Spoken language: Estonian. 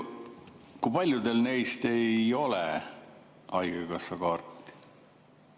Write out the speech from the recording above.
Kui paljudel neist ei ole haigekassakaarti?